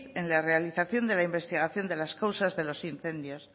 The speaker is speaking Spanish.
en la realización de la investigación de las causas de los incendios